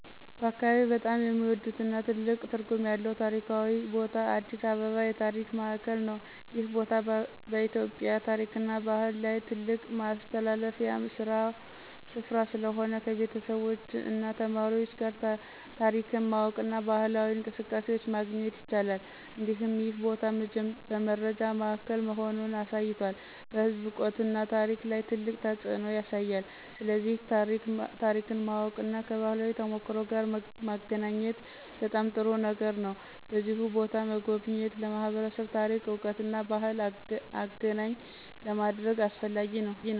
በአካባቢዬ በጣም የሚወዱትና ትልቅ ትርጉም ያለው ታሪካዊ ቦታ አዲስ አበባ የታሪክ ማዕከል ነው። ይህ ቦታ በኢትዮጵያ ታሪክና ባህል ላይ ትልቅ ማስተላለፊያ ስፍራ ስለሆነ፣ ከቤተሰቦች እና ተማሪዎች ጋር ታሪክን ማወቅና ባህላዊ እንቅስቃሴዎችን ማግኘት ይቻላል። እንዲሁም ይህ ቦታ በመረጃ ማዕከል መሆኑን አሳይቷል፣ በሕዝብ እውቀትና ታሪክ ላይ ትልቅ ተፅዕኖ ያሳያል። ስለዚህ ታሪክን ማወቅና ከባህላዊ ተሞክሮ ጋር መገናኘት በጣም ጥሩ ነገር ነው። በዚሁ ቦታ መጎብኘት ለማህበረሰብ ታሪክ እውቀትና ባህልን አገኘ ለማድረግ አስፈላጊ ነው።